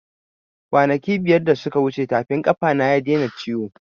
Kwanaki biyar da suka wuce tafin ƙafa na ya daina ciwo